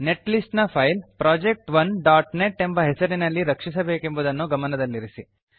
net list ನ file project1ನೆಟ್ ಎಂಬ ಹೆಸರಿನಲ್ಲಿ ರಕ್ಷಿಸಬೇಕೆಂಬುದನ್ನು ಗಮನದಲ್ಲಿರಲಿ